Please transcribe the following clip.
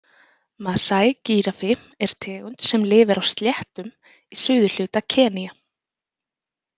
Masai-gíraffi er tegund sem lifir á sléttum í suðurhluta Kenía.